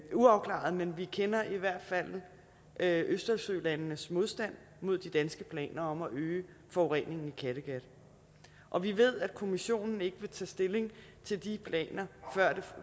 uafklaret men vi kender i hvert fald østersølandenes modstand mod de danske planer om at øge forureningen i kattegat og vi ved at kommissionen ikke vil tage stilling til de planer